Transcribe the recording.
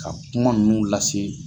Ka kuma nunnu lase